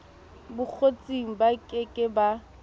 bokgotsing ba ke ke ba